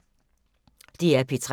DR P3